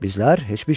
Bizlər heç bir şey.